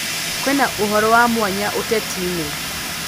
kwĩnaũhoro wa mwanya utetiini